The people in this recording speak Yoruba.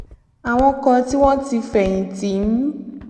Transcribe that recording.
àwọn kan tí wón ti fèyìn tì ń